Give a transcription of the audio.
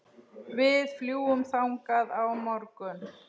Við fljúgum þangað á morgun.